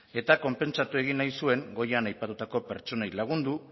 eta konpentsatu egin nahi zuen goian aipatutako pertsonei lagundu